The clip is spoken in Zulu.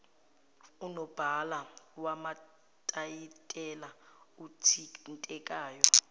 unobhala wamatayitela othintekayo